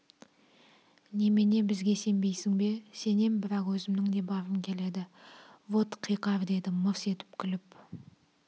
немене бізге сенбейсің бе сенем бірақ өзімнің де барғым келеді вот қиқар деді мырс етіп күліп